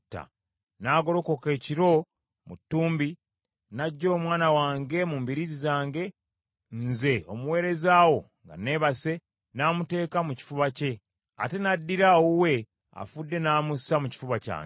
N’agolokoka ekiro mu ttumbi n’aggya omwana wange mu mbiriizi zange, nze omuweereza wo nga neebase, n’amuteeka mu kifuba kye, ate n’addira owuwe afudde n’amussa mu kifuba kyange.